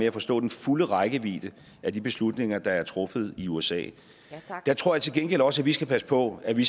at forstå den fulde rækkevidde af de beslutninger der er truffet i usa tror jeg til gengæld også at vi skal passe på at vi